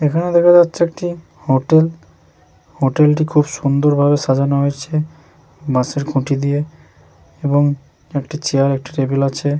এখানে দেখা যাচ্ছে একটি হোটেল হোটেল টি খুব সুন্দর ভাবে সাজানো হয়েছে বাঁশের খুটি দিয়ে এবং একটি চেয়ার একটি টেবিল আছে।